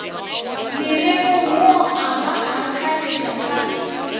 morerong wo a ba akaretšaka